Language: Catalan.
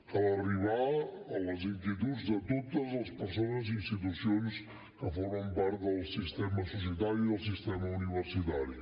cal arribar a les inquietuds de totes les persones i institucions que formen part del sistema societari del sistema universitari